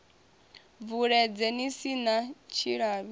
bvuledze ni si na tshilavhi